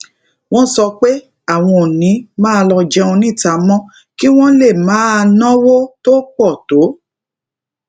wón sọ pé àwọn ò ní máa lọ jẹun níta mó kí wón lè máa náwó tó pò tó